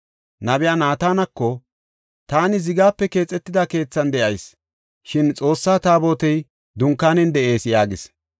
nabiya Naatanako, “Taani zigape keexetida keethan de7ayis, shin Xoossa Taabotey dunkaanen de7ees” yaagis.